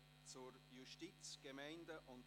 Geschäft 2017.RRGR.648